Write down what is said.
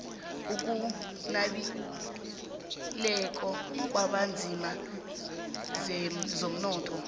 okunabileko kwabanzima kezomnotho